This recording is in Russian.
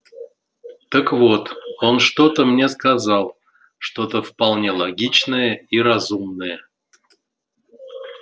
так вот он что-то мне сказал что-то вполне логичное и разумное